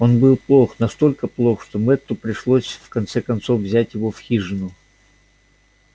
он был плох настолько плох что мэтту пришлось в конце концов взять его в хижину